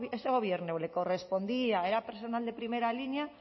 dice este gobierno le correspondía era personal de primera línea